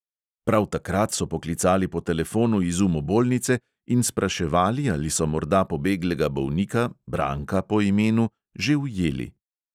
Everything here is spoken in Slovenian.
Prav takrat so poklicali po telefonu iz umobolnice in spraševali, ali so morda pobeglega bolnika, branka po imenu, že ujeli.